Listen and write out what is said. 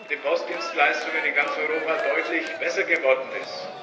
der Postdienstleistungen in ganz Europa deutlich besser geworden ist.